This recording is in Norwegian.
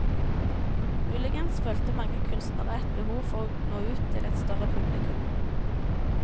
Muligens følte mange kunstnere et behov for å nå ut til et større publikum.